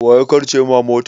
Waya karce ma mota?